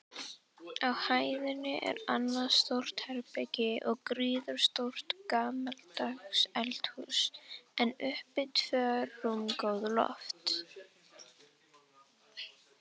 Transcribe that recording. Á hæðinni er annað stórt herbergi og gríðarstórt gamaldags eldhús, en uppi tvö rúmgóð loft.